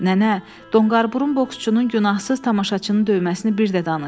Nənə, donqarburun boksçunun günahsız tamaşaçını döyməsini bir də danış.